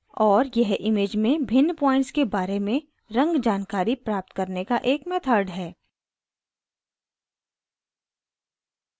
और यह image में भिन्न points के बारे में रंग जानकारी प्राप्त करने का एक method है